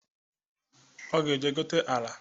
Ọ ga-eje gote ala